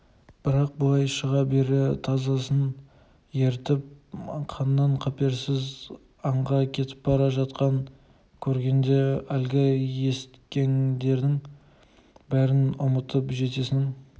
бірақ былай шыға бере тазысын ертіп қаннен-қаперсіз аңға кетіп бара жатқан көргенде әлгі есіткеңдерінің бәрін ұмытып жездесінің